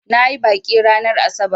Na yi baƙi ranar asabar.